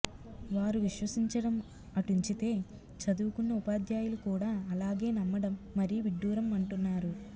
వారు విశ్వసించడం అటుంచితే చదువుకున్న ఉపాధ్యాయులు కూడా అలాగే నమ్మడం మరీ విడ్డూరం అంటున్నారు